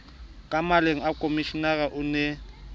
ka maleng komishenara o ne